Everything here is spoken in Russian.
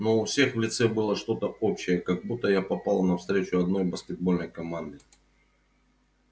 но у всех в лице было что-то общее как будто я попала на встречу одной баскетбольной команды